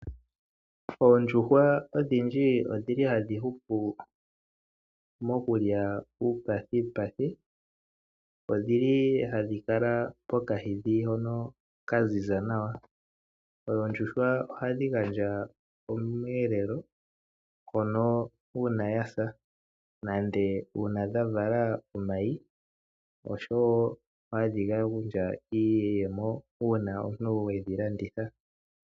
Oondjuhwa odhindji odhili hadhi hupu mokulya uupathipathi .odhili hadhi kala pomwiidhi ngonl hagu kala gwa ziza nawa. Oondjuhwa ohadhi gandja omweelelo uuna yasa nenge uuna dhavala omayi oshowo hadhi gandja iiyemo uuna omuntu wedhi landitha.